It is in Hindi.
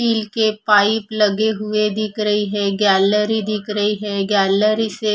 स्टील के पाइप लगे हुए दिख रही है गैलरी दिख रही है गैलरी से --